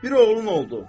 Bir oğlun oldu.